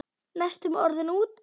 Næstum orðinn úti